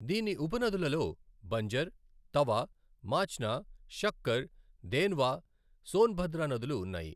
దీని ఉపనదులలో బంజర్, తవా, మాచ్నా, షక్కర్, దేన్వా, సోన్భద్ర నదులు ఉన్నాయి.